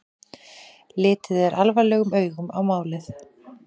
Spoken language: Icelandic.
Litið er alvarlegum augum á málið